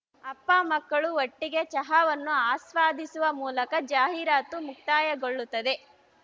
ಅಪ್ಪಾಮಕ್ಕಳು ಒಟ್ಟಿಗೆ ಚಹಾವನ್ನು ಆಸ್ವಾದಿಸುವ ಮೂಲಕ ಜಾಹೀರಾತು ಮುಕ್ತಾಯಗೊಳ್ಳುತ್ತದೆ